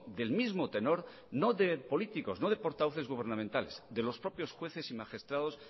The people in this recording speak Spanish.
del mismo tenor no de políticos no de portavoces gubernamentales de los propios jueces y magistrados